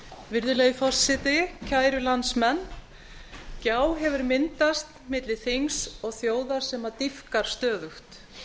virðulegi forseti kæru landsmenn gjá hefur myndast milli þings og þjóðar sem dýpkar stöðugt